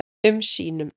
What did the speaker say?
um sínum.